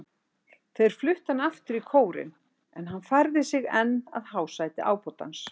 Þeir fluttu hann aftur í kórinn, en hann færði sig enn að hásæti ábótans.